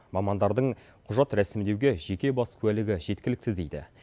мамандардың құжат рәсімдеуге жеке бас куәлігі жеткілікті дейді